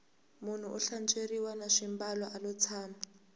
munhu u hlantsweriwa na swimbalo alo tshama